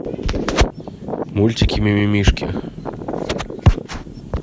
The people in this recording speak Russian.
мультики мимимишки